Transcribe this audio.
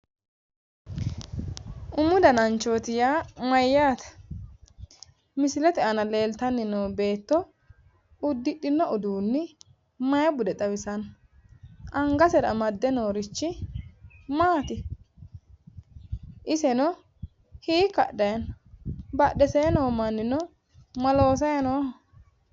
Umu dananchooti yaa mayyaate ?misilete aana leeltanni noo beetto uddidhino uduunni mayi bude xawisanno angasera amadde noorichi maati? iseno hiikka hadhayi no badhesee noo mannino ma loosayi nooho?